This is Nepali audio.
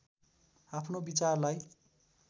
आफ्नो विचारलाई